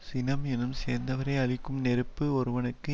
சினம் என்னும் சேர்ந்தவரை அழிக்கும் நெருப்பு ஒருவனுக்கு